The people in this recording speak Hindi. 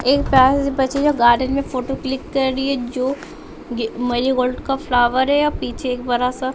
एक प्यारी सी बच्ची है जो गार्डन में फोटो क्लिक कर रही है जो मरीगोल्ड का फ्लाअर है और पीछे एक बरा सा --